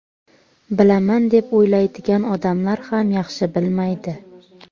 Bilaman deb o‘ylaydigan odamlar ham yaxshi bilmaydi.